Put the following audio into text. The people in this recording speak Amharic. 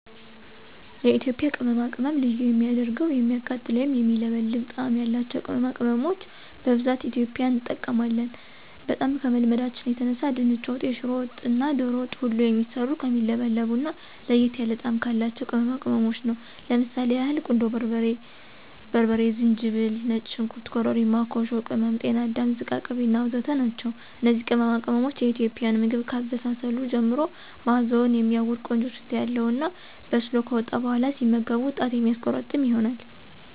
የኢትዬጵያ ቅመማቅመም ልዩ የሚያደርገዉ የሚያቃጥል ወይም የሚለበልብ ጣም ያላቸዉ ቅመማቅመሞች በብዛት ኢትዬጵያዊን እንጠቀማለን። በጣም ከመልመዳችን የተነሳ ድንች ወጥ፣ የሽሮ ወጥ እና ዶሮ ወጥ ሁሉ የሚሰሩት ከሚለበልቡ እና ለየት ያለ ጣም ካላቸው ቅመማቅመሞች ነው። ለምሳሌ ያህል ቁንዶ በርበሬ፣ በርበሬ፣ ዝንጅብል፣ ነጭ ሽንኩርት፣ ኮርሪማ፣ ኮሾ ቅም፣ ጤና አዳም ዝቃቅቤ እና ወዘተ ናቸው። እነዚህ ቅመማቅሞች የኢትዬጵያን ምግብ ከአበሳሰሉ ጀምሮ ማእዛዉ የሚያዉድ (ቆንጆ ሽታ) ያለዉ እና በስሎ ከወጣ በኋላ ሲመገቡት ጣት የሚያስቆረጥም ይሆናል።